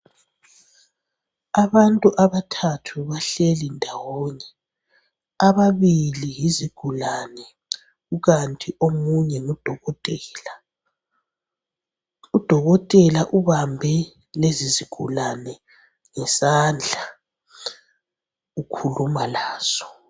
Abantu abathathu bahleli ndawonye. Ababili yizigulane, kukanti omunye ngudokotela. Udokotela ubambe lezi zigulane ngesandla, ukhuluma lazo.